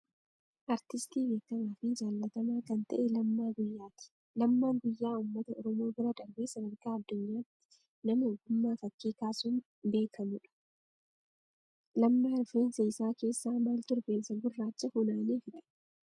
Aartistii beekamaa fi jaallatamaa kan ta'e Lammaa Guyyaati. Lammaan Guyyaa uummata oromoo bira darbee sadarkaa addunyaatti nama ogummaa fakkii kaasuun beekamuudha. Lammaa rifeensa isaa keessaa maaltu rifeensa gurraacha funaanee fixe?